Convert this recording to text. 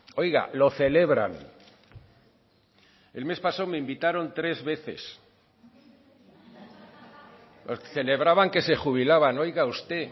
oiga lo celebran el mes pasado me invitaron tres veces celebraban que se jubilaban oiga usted